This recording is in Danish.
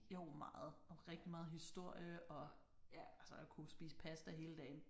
Jo meget og rigtig meget historie og altså og kunne spise pasta hele dagen